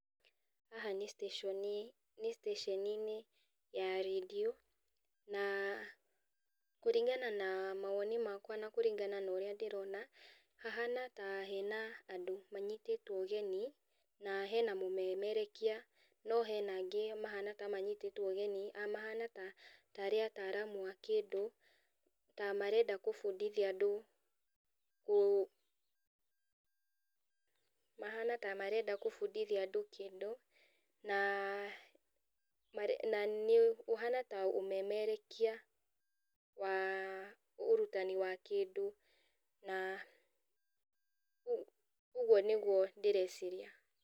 Haha nĩ station nĩ station ya rendio na kũringana na mawoni makwa na kũringana na ũrĩa ndĩrona, hahana ta hena andũ manyitĩtwo ũgeni, na hena mũmemerekia, no hena angĩ mahana ta manyitĩtwo ũgeni, mahana tarĩ ataramu a kĩndũ, ta marenda kũbundithia andũ ũ mahana ta marenda kũbundithia andũ kĩndũ, na na nĩũhana ta ũmemerekia wa ũrutani wa kĩndũ na ũguo nĩguo ndĩreciria.